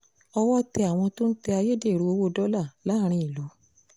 owó ọ̀tẹ̀ àwọn tó ń tẹ ayédèrú owó dọ́là láàrin ìlú